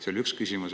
See oli üks küsimus.